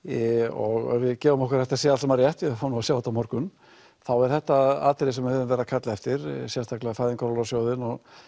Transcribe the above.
og ef við gefum okkur að þetta sé allt saman rétt við fáum nú að sjá þetta á morgun þá er þetta atriði sem við höfum verið að kalla eftir sérstaklega Fæðingarorlofssjóðinn